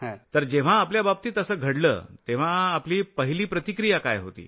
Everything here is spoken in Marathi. तर जेव्हा आपल्याबाबतीत असं घडलं तेव्हा आपली पहिली प्रतिक्रिया काय होती